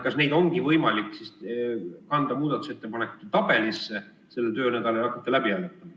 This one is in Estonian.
Kas neid on võimalik kanda muudatusettepanekute tabelisse sellel töönädalal ja hakata läbi hääletama?